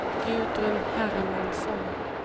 Gudrun Hermansson